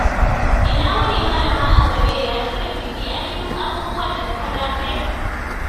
Ina wuni, Malama Asabe. Ya shirin biki? Anyi duk abubuwan da suka dace?